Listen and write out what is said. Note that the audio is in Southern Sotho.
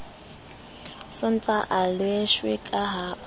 sontaha a leshwe ka ho